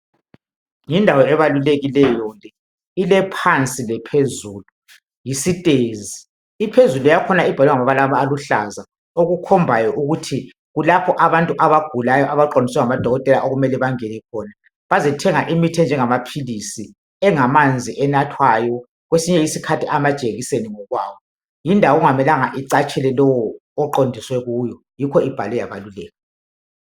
Yindawo ebalulekileyo le, ilephansi lephezulu, yisitezi, iphezulu yakhona ibhalwe ngamabalabala aluhlaza okukhombayo ukuthi kulapho abantu abagulayo abaqondiswa ngamadokotela okumele bangene khona bazethenga imithi enjengamaphilisi, engamanzi enathwayo kwesinye isikhathi amajekiseni ngokwawo yindawo okungamelanga icatshele lowo oqondiswe kuyo yikho ibhalwe yabaluleka